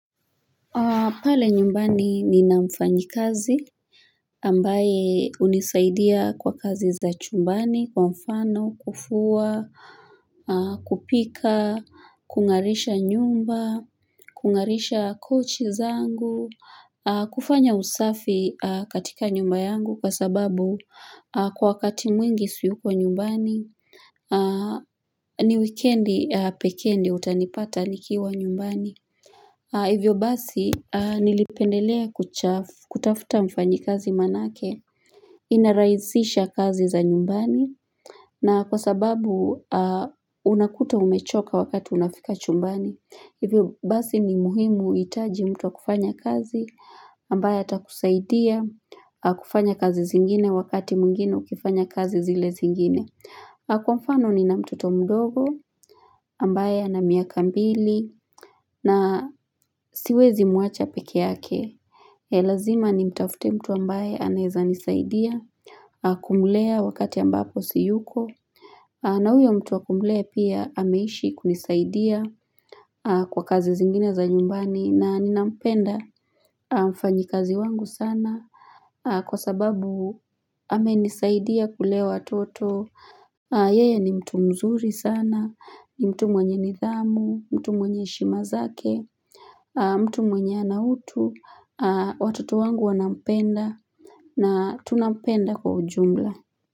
Pale nyumbani nina mfanyikazi ambaye unisaidia kwa kazi za chumbani kwa mfano kufua kupika kung'arisha nyumba kung'arisha kochi zangu kufanya usafi katika nyumba yangu kwa sababu kwa wakati mwingi siyuko nyumbani ni wikendi pekee ndio utanipata nikiwa nyumbani Hivyo basi nilipendelea kutafuta mfanyikazi manake, inaraisisha kazi za nyumbani na kwa sababu unakuta umechoka wakati unafika chumbani. Hivyo basi ni muhimu kuitaji mtu kufanya kazi ambaye atakusaidia kufanya kazi zingine wakati mwengine ukifanya kazi zile zingine. Kwa mfano nina mtoto mdogo, ambaye ana miaka mbili na siwezi mwacha peke yake. Ni lazima nimtafute mtu ambaye anaeza nisaidia kumlea wakati ambapo siyuko. Na huyo mtu wa kumlea pia ameishi kunisaidia kwa kazi zingine za nyumbani na ninampenda mfanyikazi wangu sana. Kwa sababu amenisaidia kulea watoto Yeye ni mtu mzuri sana ni mtu mwenye nidhamu mtu mwenye heshima zake mtu mwenye ana utu Watoto wangu wanampenda na tunampenda kwa ujumla.